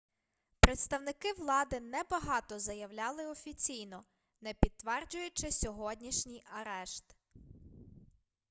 представники влади небагато заявляли офіційно не підтверджуючи сьогоднішній арешт